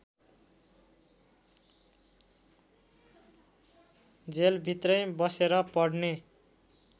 जेलभित्रै बसेर पढ्ने